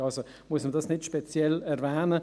Daher muss man es nicht speziell erwähnen;